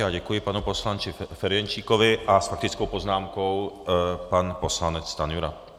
Já děkuji panu poslanci Ferjenčíkovi a s faktickou poznámkou pan poslanec Stanjura.